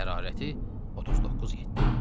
Hərarəti 39.7.